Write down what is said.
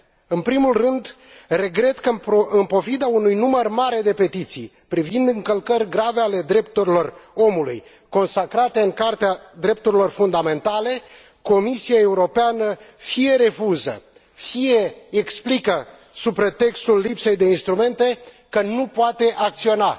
În primul rând, regret că, în pofida unui număr mare de petiții privind încălcări grave ale drepturilor omului consacrate în Carta drepturilor fundamentale, Comisia Europeană fie refuză, fie explică, sub pretextul lipsei de instrumente, că nu poate acționa.